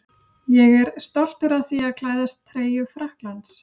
Ég er stoltur af því að klæðast treyju Frakklands.